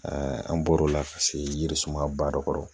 an bɔr'o la ka se yiri suma ba dɔ kɔrɔ